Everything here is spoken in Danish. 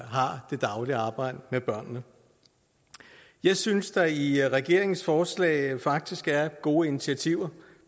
har det daglige arbejde med børnene jeg synes der i regeringens forslag faktisk er gode initiativer